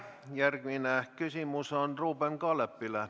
Järgmine küsimus on Ruuben Kaalepil.